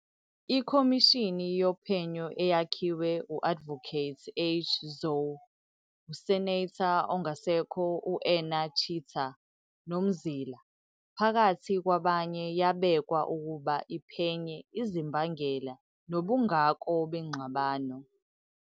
Ikhomishini yophenyo eyakhiwe u-Advocate H. Zhou, uSenator ongasekho u-Enna Chitsa noMzila phakathi kwabanye yabekwa ukuba iphenye izimbangela nobungako bengxabano.